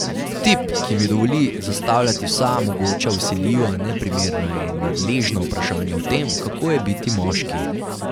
Tip, ki mi dovoli zastavljati vsa mogoča vsiljiva, neprimerna in nadležna vprašanja o tem, kako je biti moški.